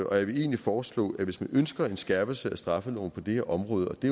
og jeg vil egentlig foreslå at hvis man ønsker en skærpelse af straffeloven på det her område og det